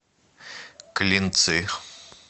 клинцы